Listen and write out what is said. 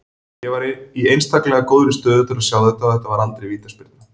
Ég var í einstaklegra góðri stöðu til að sjá þetta og þetta var aldrei vítaspyrna